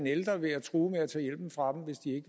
ældre ved at true